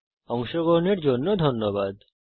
এতে অংশগ্রহন করার জন্য ধন্যবাদ